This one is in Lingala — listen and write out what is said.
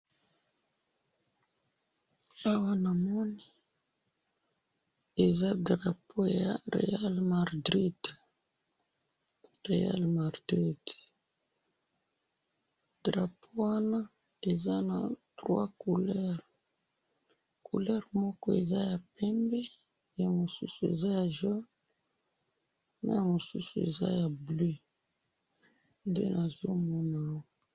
awa namoni eza drapeau ya real madrid drapeau wana eza na 3 couleur, couleur moko eza ya pembe na mosusu eza ya jaune na mosusu eza ya bleu nde nazomona